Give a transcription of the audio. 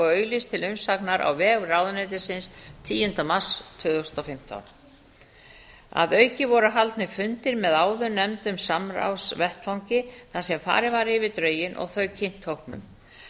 auglýst til umsagnar á vef ráðuneytisins tíunda mars tvö þúsund og fimmtán að auki voru haldnir fundir með áðurnefndum samráðsvettvangi þar sem farið var yfir drögin og þau kynnt hópnum